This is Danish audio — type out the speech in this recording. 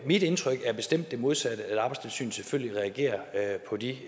mit indtryk er bestemt det modsatte altså at arbejdstilsynet selvfølgelig reagerer på de